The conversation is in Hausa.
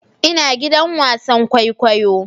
Ina gidan wasan kwaikwayo